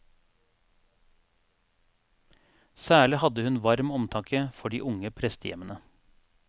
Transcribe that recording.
Særlig hadde hun varm omtanke for de unge prestehjemmene.